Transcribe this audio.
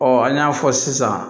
an y'a fɔ sisan